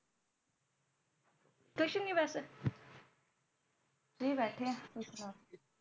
ਕੁਛ ਨੀ ਬਸ Free ਬੈਠੇ ਆ ਤੁਸੀ ਸੁਣਾਓ